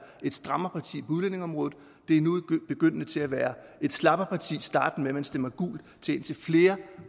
et strammerparti på udlændingeområdet det er nu begyndende til at være et slapperparti startende med at man stemmer gult til indtil flere